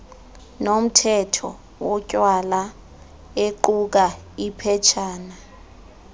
nomthetho wotywala equkaiphetshana